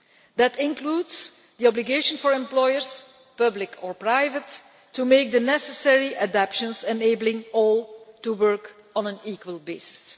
That includes the obligation for employers public or private to make the necessary adaptations enabling all to work on an equal basis.